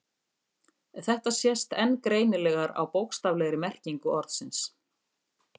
Þetta sést enn greinilegar á bókstaflegri merkingu orðsins.